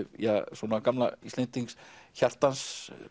svona gamla Íslendings hjartans